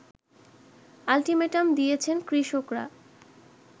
ultimatum দিয়েছেন কৃষকরা